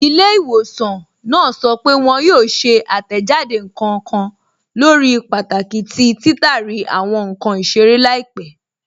Ilẹ́̀-ìwọ̀sàn náà sọ́ pé wọn yóò ṣè àtẹ́jádé nkan kàn lórí pàtàkì tí títàrí àwọn nkan isèrè laípẹ̀.